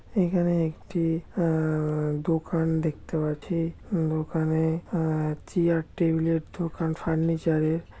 এখানে একটি আআআআ দোকান দেখতে পাচ্ছি দোকানে আআআ চিয়ার টেবিল এর দোকান ফার্নিচার এর।